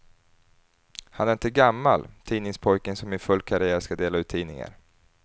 Han är inte gammal, tidningspojken som i full karriär ska dela ut tidningar.